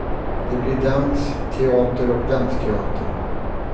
Det blir dans, teater och dansteater.